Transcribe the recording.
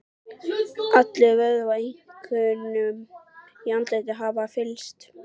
Allir vöðvar, einkum í andliti, hafa fyllst.